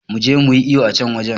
Muje muyi iyo a can wajen